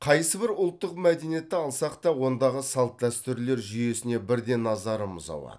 қайсыбір ұлттық мәдениетті алсақ та ондағы салт дәстүрлер жүйесіне бірден назарымыз ауады